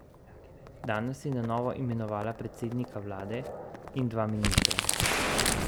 Danes je na novo imenovala predsednika vlade in dva ministra.